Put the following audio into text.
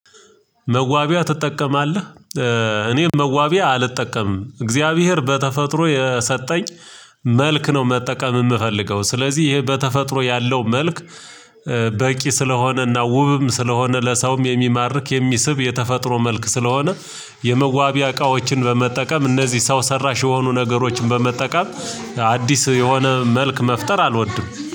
መዋቢያ ትጠቀማለህ? እኔም መዋቢያ አልጠቀምም እግዚአብሔር በተፈጥሮ የሰጠኝ መልክ ነው። መጠቀም የምፈልገው ስለዚህ ይሄ በተፈጥሮ ያለው መልክ በቂ ስለሆነ እና ውብም ስለሆነ ለሰውም የሚማርክ የሚስብ የተፈጥሮ መልክ ስለሆነ የመዋቢያ እቃዎችን በመጠቀም እነዚህ ሰው ሰራሽ የሆኑ ነገሮችን በመጠቀም አዲስ የሆነ መልክ መፍጠር አልወድም